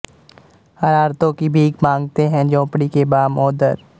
ਹਰਾਰਤੋਂ ਕੀ ਭੀਕ ਮਾਂਗਤੇ ਹੈਂ ਝੋਂਪੜੀ ਕੇ ਬਾਮ ਓ ਦਰ